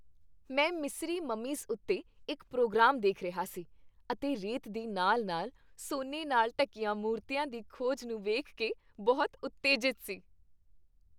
ਮੈਂ ਮਿਸਰੀ ਮਮੀਜ਼ ਉੱਤੇ ਇੱਕ ਪ੍ਰੋਗਰਾਮ ਦੇਖ ਰਿਹਾ ਸੀ ਅਤੇ ਰੇਤ ਦੇ ਨਾਲ ਨਾਲ ਸੋਨੇ ਨਾਲ ਢੱਕੀਆਂ ਮੂਰਤੀਆਂ ਦੀ ਖੋਜ ਨੂੰ ਵੇਖ ਕੇ ਬਹੁਤ ਉਤੇਜਿਤ ਸੀ